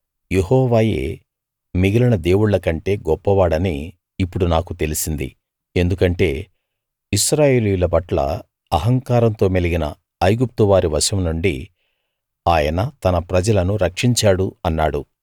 యెహోవాయే మిగిలిన దేవుళ్ళ కంటే గొప్పవాడని ఇప్పుడు నాకు తెలిసింది ఎందుకంటే ఇశ్రాయేలీయుల పట్ల అహంకారంతో మెలిగిన ఐగుప్టు వారి వశంనుండి ఆయన తన ప్రజలను రక్షించాడు అన్నాడు